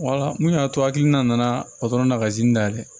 mun y'a to hakilina nana o dɔrɔn na kazi dayɛlɛ